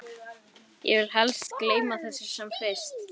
Svo móðir hennar að kippa þeim fram úr undan bununni.